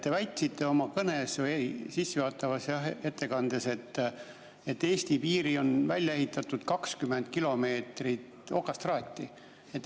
Te väitsite oma kõnes või sissejuhatavas ettekandes, et Eesti piiril on 20 kilomeetrit okastraati.